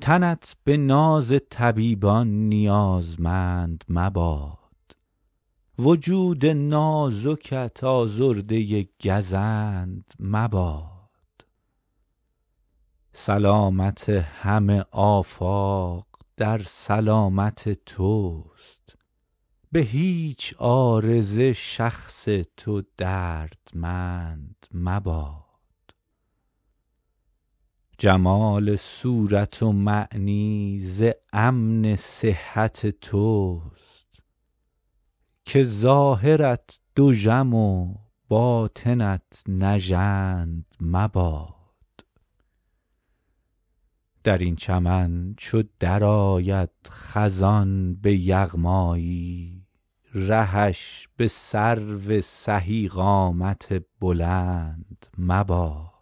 تنت به ناز طبیبان نیازمند مباد وجود نازکت آزرده گزند مباد سلامت همه آفاق در سلامت توست به هیچ عارضه شخص تو دردمند مباد جمال صورت و معنی ز امن صحت توست که ظاهرت دژم و باطنت نژند مباد در این چمن چو درآید خزان به یغمایی رهش به سرو سهی قامت بلند مباد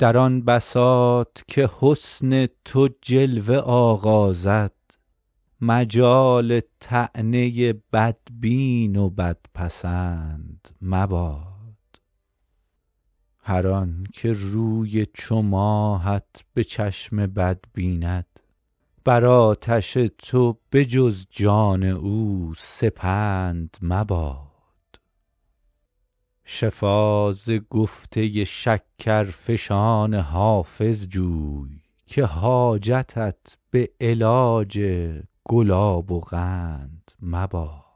در آن بساط که حسن تو جلوه آغازد مجال طعنه بدبین و بدپسند مباد هر آن که روی چو ماهت به چشم بد بیند بر آتش تو به جز جان او سپند مباد شفا ز گفته شکرفشان حافظ جوی که حاجتت به علاج گلاب و قند مباد